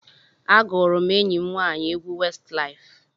Agụụrụ m enyi m nwaanyị egwu Westlaif.